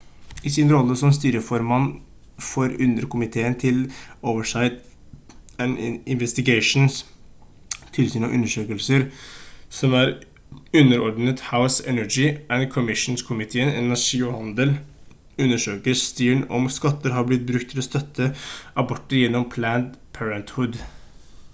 i sin rolle som styreformann for underkomiteen til oversight and investigations tilsyn og undersøkelser som er underordnet house energy and commerse-komiteen energi og handel undersøker stearn om skatter har blitt brukt til å støtte aborter gjennom planned parenthood